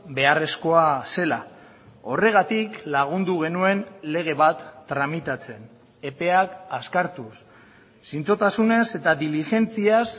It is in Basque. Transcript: beharrezkoa zela horregatik lagundu genuen lege bat tramitatzen epeak azkartuz zintzotasunez eta diligentziaz